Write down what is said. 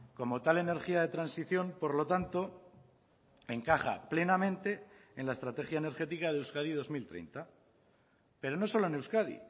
como tal energía de transición por lo tanto encaja plenamente en la estrategia energética de euskadi dos mil treinta pero no solo en euskadi